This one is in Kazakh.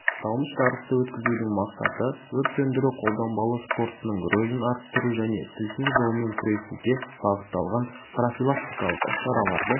аталмыш жарысты өткізудің мақсаты өрт сөндіру-қолданбалы спортының рөлін арттыру және тілсіз жаумен күресуге бағытталған профилактикалық іс-шараларды